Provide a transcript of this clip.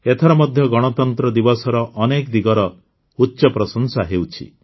ଏଥର ମଧ୍ୟ ଗଣତନ୍ତ୍ର ଦିବସର ଅନେକ ଉଚ୍ଚପ୍ରଶଂସା ହେଉଛି